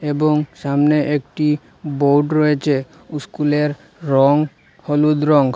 এবং সামনে একটি বোর্ড রয়েছে উস্কুলের রঙ হলুদ রঙ।